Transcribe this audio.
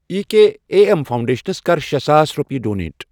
E K A M foundations کَر شے ساس رۄپیہِ ڈونیٹ۔